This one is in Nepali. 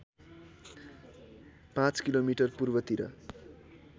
पाँच किलोमिटर पूर्वतिर